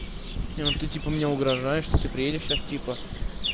ну ты типа мне угрожаешь что ты приедешь сейчас типа